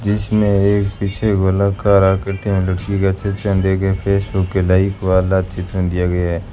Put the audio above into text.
जिसमें एक पीछे गोलाकार आकृति में लड़की का चित्र देखें फेसबुक के लाइक वाला चित्र दिया गया --